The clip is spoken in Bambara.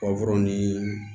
ni